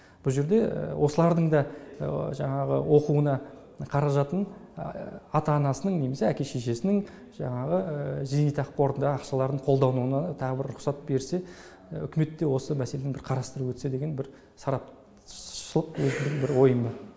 бұл жерде осылардың да жаңағы оқуына қаражатын ата анасының немесе әке шешесінің жаңағы зейнетақы қорындағы ақшаларын қолдануына тағы бір рұқсат берсе үкімет те осы мәселені бір қарастырып өтсе деген бір сарапшшылық өзімнің бір ойым бар